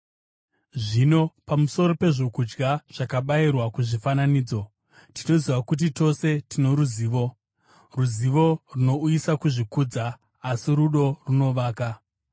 Zvino, pamusoro pezvokudya zvakabayirwa kuzvifananidzo: Tinoziva kuti tose tino ruzivo. Ruzivo runouyisa kuzvikudza, asi rudo runovaka.